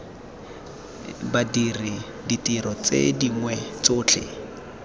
badiri ditiro tse dingwe tsotlhe